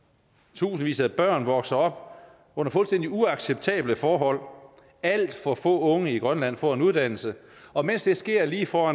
tusindvis af børn vokser op under fuldstændig uacceptable forhold alt for få unge i grønland får en uddannelse og mens det sker lige for